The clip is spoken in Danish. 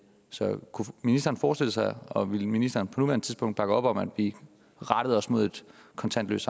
så kunne ministeren forestille sig og vil ministeren på nuværende tidspunkt bakke op om at vi rettede os mod et kontantløst